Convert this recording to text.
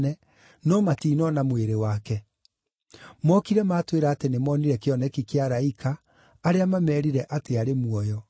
no matinona mwĩrĩ wake. Mokire matwĩra atĩ nĩmonire kĩoneki kĩa araika, arĩa mameerire atĩ arĩ muoyo.